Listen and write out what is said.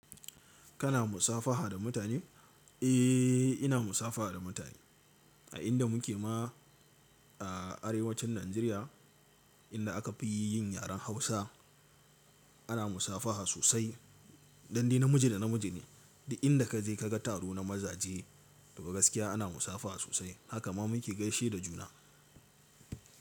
Kana musafaha da mutane? Eh, ina musafaha da mutane a inda muke ma a arewacin Najeriya inda aka fi yin yaren Hausa ana musafaha sosai, don dai namiji da namiji ne. Da inda ka je ka ga taro na mazaje to gaskiya ana musafaha sosai. Haka ma muke gaishe da juna.